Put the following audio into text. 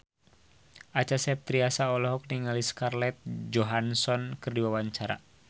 Acha Septriasa olohok ningali Scarlett Johansson keur diwawancara